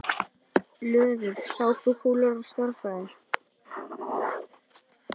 Löður: Sápukúlur og stærðfræði.